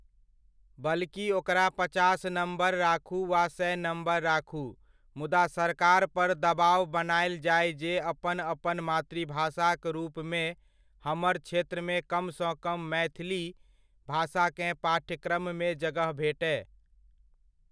बल्कि ओकरा पचास नम्बर राखु वा सए नम्बर राखु, मुदा, सरकारपर दबाव बनायल जाय जे अपन अपन मातृभाषाक रूपमे हमर क्षेत्रमे कमसँ कम मैथिली भाषाकेँ पाठ्यक्रममे जगह भेटय।